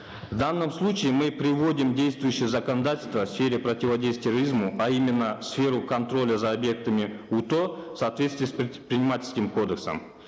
в данном случае мы приводим действующее законодательство в сфере продиводействия терроризму а именно в сферу контроля за объектами уто в соответствии с предпринимательским кодексом